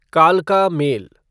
कालका मेल